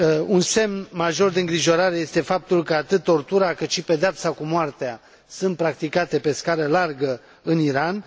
Un semn major de îngrijorare este faptul că, atât tortura, cât și pedeapsa cu moartea sunt practicate pe scară largă în Iran.